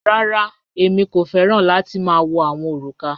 Rárá, èmi kò fẹ̀ran láti ma wọ̀ awọn orúkà.